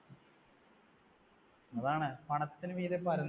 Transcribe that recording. അതാണ്, പണത്തിനു മീതെ പരുന്തും